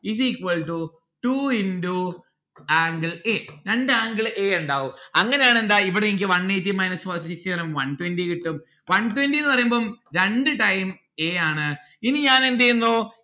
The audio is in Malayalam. is equal to two into angle a രണ്ട് angle a ഇണ്ടാവും അങ്ങനെ ആണേൽ എന്താ ഇവിടെ എനിക്ക് one eighty minus sixty one twenty കിട്ടും one twenty ന്ന്‌ പറയുമ്പം രണ്ട് time a ആണ്. ഇനി ഞാൻ എന്തെയ്യുന്നു